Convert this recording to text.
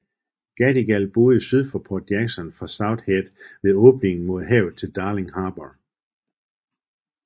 Gadigal boede syd for Port Jackson fra South Head ved åbningen mod havet til Darling Harbour